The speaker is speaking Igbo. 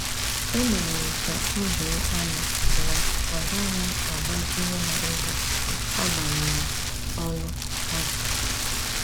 E mere m ka odo anya na agaghị m agbazinye ha ego, agbanyeghi olu ha ji